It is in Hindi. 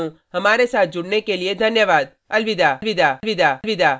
मैं यश वोरा अब आपसे विदा लेता हूँ